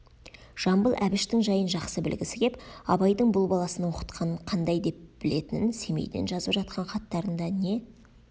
жамбыл әбіштің жайын жақсы білгісі кеп абайдың бұл баласын оқытқанын қандай деп білетінін семейден жазып жатқан хаттарында не